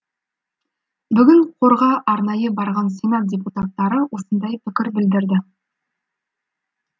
бүгін қорға арнайы барған сенат депутаттары осындай пікір білдірді